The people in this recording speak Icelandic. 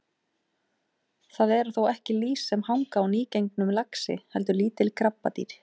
Það eru þó ekki lýs sem hanga á nýgengnum laxi heldur lítil krabbadýr.